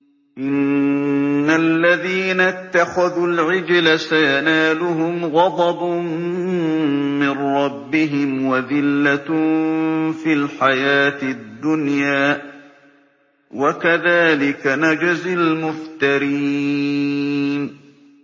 إِنَّ الَّذِينَ اتَّخَذُوا الْعِجْلَ سَيَنَالُهُمْ غَضَبٌ مِّن رَّبِّهِمْ وَذِلَّةٌ فِي الْحَيَاةِ الدُّنْيَا ۚ وَكَذَٰلِكَ نَجْزِي الْمُفْتَرِينَ